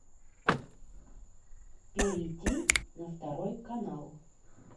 перейти на второй канал